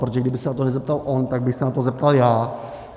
Protože kdyby se na to nezeptal on, tak bych se na to zeptal já.